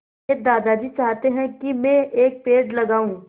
मेरे दादाजी चाहते हैँ की मै एक पेड़ लगाऊ